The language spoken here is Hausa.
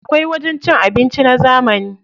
Akwai wajen cin abinci na zamani.